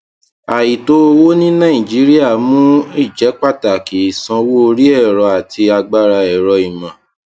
àìtó owó ní nàìjíríà mú ìjẹpàtàkì ìsanwó orí ẹrọ àti agbára ẹrọìmọ